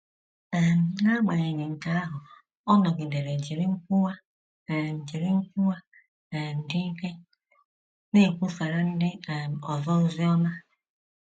um N’agbanyeghị nke ahụ, ọ nọgidere jiri nkwuwa um jiri nkwuwa um dị ike na - ekwusara ndị um ọzọ ozi ọma.